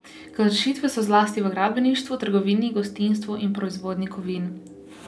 Kršitve so zlasti v gradbeništvu, trgovini, gostinstvu in proizvodnji kovin.